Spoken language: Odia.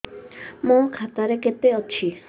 ମୋ ଖାତା ରେ କେତେ ଅଛି